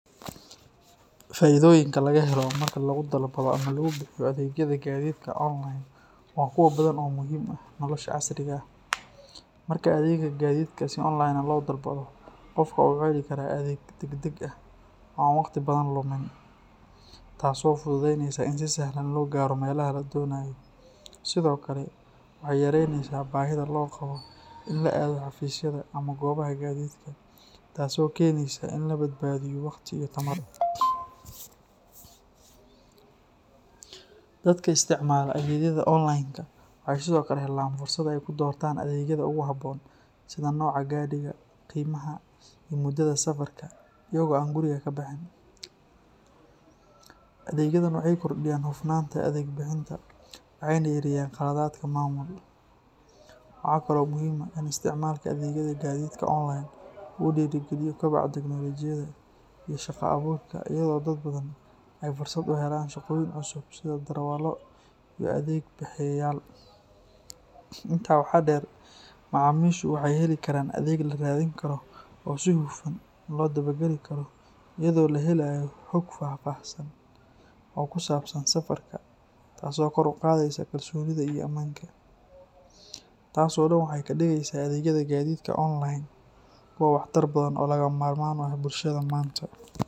Faa’iidooyinka laga helo marka lagu dalbado ama lagu bixiyo adeegyada gaadiidka online waa kuwo badan oo muhiim u ah nolosha casriga ah. Marka adeega gaadiidka si online ah loo dalbado, qofka waxa uu heli karaa adeeg degdeg ah oo aan waqti badan lumin, taasoo fududeynaysa in si sahlan loo gaaro meelaha la doonayo. Sidoo kale, waxay yareyneysaa baahida loo qabo in la aado xafiisyada ama goobaha gaadiidka, taasoo keenaysa in la badbaadiyo waqti iyo tamar. Dadka isticmaala adeegyada online-ka waxay sidoo kale helaan fursad ay ku doortaan adeegyada ugu habboon, sida nooca gaadhiga, qiimaha, iyo muddada safarka, iyaga oo aan guriga ka bixin. Adeegyadan waxay kordhiyaan hufnaanta adeeg bixinta waxayna yareeyaan khaladaadka maamul. Waxa kale oo muhiim ah in isticmaalka adeegyada gaadiidka online uu dhiirrigeliyo koboca tiknoolajiyadda iyo shaqo abuurka iyadoo dad badan ay fursad u helaan shaqooyin cusub sida darawallo iyo adeeg bixiyeyaal. Intaa waxaa dheer, macaamiishu waxay heli karaan adeeg la raadin karo oo si hufan loo daba-gali karo iyadoo la helayo xog faahfaahsan oo kusaabsan safarka, taasoo kor u qaadaysa kalsoonida iyo ammaanka. Taas oo dhan waxay ka dhigaysaa adeegyada gaadiidka online kuwo waxtar badan oo lagama maarmaan u ah bulshada maanta.